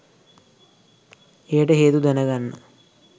එයට හේතු දැනගන්න